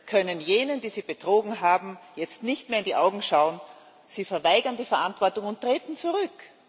können jenen, die sie betrogen haben, jetzt nicht mehr in die Augen schauen. Sie verweigern die Verantwortung und treten zurück.